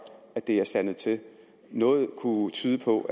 at det er sandet til noget kunne tyde på